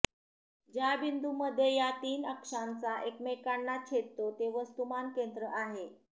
ज्या बिंदूमध्ये या तीन अक्षांचा एकमेकांना छेदतो ते वस्तुमान केंद्र आहे